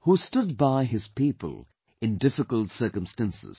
who stood by his people in difficult circumstances